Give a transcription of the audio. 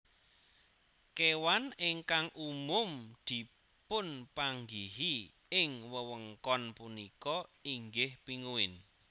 Kéwan ingkang umum dipunpanggihi ing wewengkon punika inggih pinguin